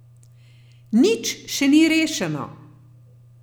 Nič še ni rešeno.